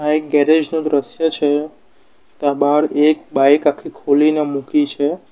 આ એક ગેરેજ નું દ્રશ્ય છે ત્યાં બાર એક બાઈક આખી ખોલીને મૂકી છે.